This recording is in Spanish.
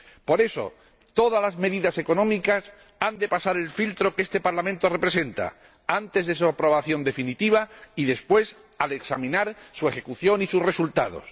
Por eso, todas las medidas económicas han de pasar por el filtro que este Parlamento representa, antes de su aprobación definitiva y, después, para examinar su ejecución y sus resultados.